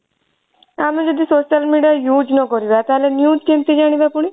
ଆମେ ଯଦି social media use ନ କରିବା ତାହେଲେ news କେମିତି ଜାଣିବା ପୁଣି?